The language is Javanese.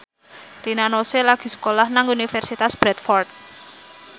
Rina Nose lagi sekolah nang Universitas Bradford